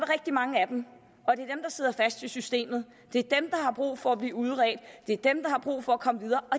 rigtig mange af dem og sidder fast i systemet det er dem har brug for at blive udredt det er dem der har brug for at komme videre og